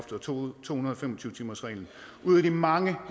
to hundrede og fem og tyve timersreglen ud af de mange